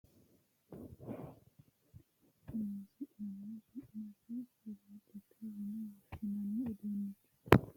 Tini mini uduunni giddo mitto ikkitinoti sagale ikko waa qiissatenna ba"annoki gede woyi keeshshiishate horonsi'nanni su'mase firiijete yine woshshinanni uduunnichooti